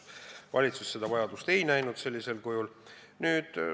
Valitsus seda vajadust sellisel kujul ei näinud.